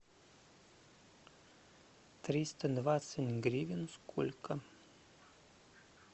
триста двадцать гривен сколько